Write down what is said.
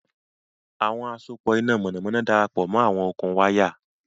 Àwọn àsopọ̀ iná mọ̀nàmọ́ná darapọ̀ mọ́ àwọn okùn wáyà